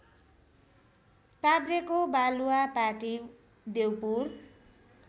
काभ्रेको Baluwapati Deupur